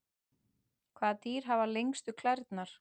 Hvaða dýr hafa lengstu klærnar?